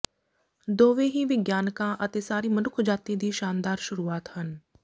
ਦੋਵੇਂ ਹੀ ਵਿਗਿਆਨਕਾਂ ਅਤੇ ਸਾਰੀ ਮਨੁੱਖਜਾਤੀ ਦੀ ਸ਼ਾਨਦਾਰ ਸ਼ੁਰੂਆਤ ਹਨ